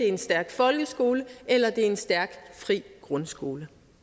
en stærk folkeskole eller det er en stærk fri grundskole